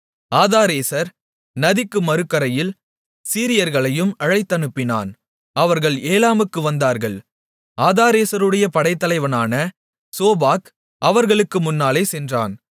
ஆதாரேசர் நதிக்கு மறுகரையில் சீரியர்களையும் அழைத்தனுப்பினான் அவர்கள் ஏலாமுக்கு வந்தார்கள் ஆதாரேசருடைய படைத்தலைவனான சோபாக் அவர்களுக்கு முன்னாலே சென்றான்